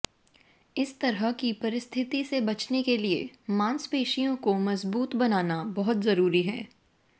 इस तरह की परिस्थिति से बचने के लिए मांसपेशियों को मज़बूत बनाना बहुत ज़रूरी है